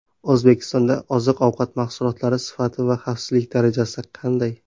O‘zbekistonda oziq-ovqat mahsulotlari sifati va xavfsizlik darajasi qanday?.